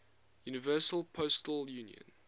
universal postal union